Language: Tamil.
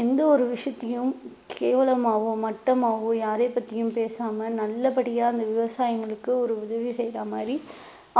எந்த ஒரு விஷயத்தையும் கேவலமாவும் மட்டமாவோ யாரைப் பத்தியும் பேசாம நல்லபடியா அந்த விவசாயிங்களுக்கு ஒரு உதவி செய்யற மாதிரி